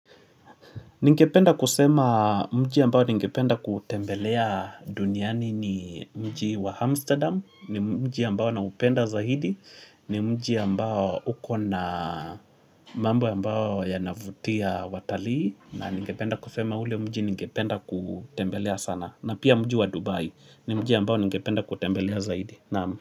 Ningependa kusema mji ambao ningependa kutembelea duniani ni mji wa Amsterdam, ni mji ambao naupenda zaidi, ni mji ambao uko na mambo ambao yanavutia watalii, na ningependa kusema ule mji ningependa kutembelea sana, na pia mji wa Dubai, ni mji ambao ningependa kutembelea zaidi.